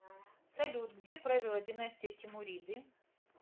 салют где правила династия тимуриды